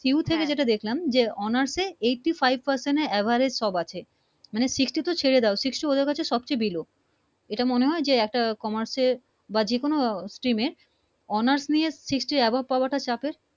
Q থেকে যেটা দেখলাম Honors এ Eighty Five Percent Average সব আছে মানে Sixty তো ছেড়ে দাও Sixty ওদের কাছে সবচেয়ে Below এটা মনে হয় যে একটা Commerce এর বা যে কোন Stram এ Honors নিয়ে Sixty avob পাওয়া টা চাপের